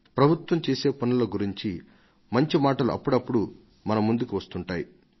ప్రభుత్వం చేసే పనుల గురించి మంచి మాటలు అప్పుడప్పుడు మన ముందుకు వస్తుంటాయి